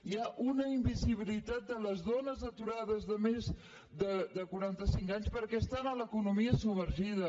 hi ha una invisibilitat de les dones aturades de més quaranta cinc anys perquè estan a l’economia submergida